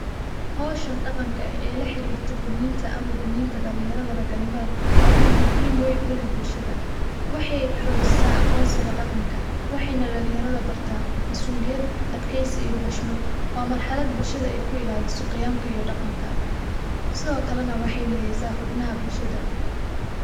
Howshaan dhaqaanka eeh ee laa xiriirto gudniinta ama gudniinta dhaalinyarada ragaa nimaada waa miid muhiim weyn uu leeh bulshaada. waxey xojisaa aqonsiiga dhaqaanka waxeyna dhaalinyarada baarta masu'uliyaad, adkeysi iyo xushmaad. waa marxaalad bulshaada eey kuu ilaaliso qiyaamka iyo dhaaqanka siido kaale naa waxey mideysa xubnaaha bulshaada.